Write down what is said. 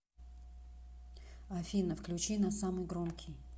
афина включи на самый громкий